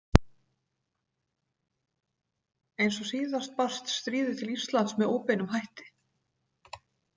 Eins og síðast barst stríðið til Íslands með óbeinum hætti.